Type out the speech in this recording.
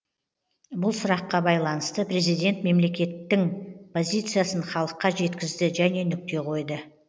бұл сұраққа байланысты президент мемлекеттің позициясын халыққа жеткізді және нүкте қойды